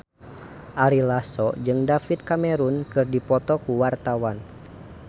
Ari Lasso jeung David Cameron keur dipoto ku wartawan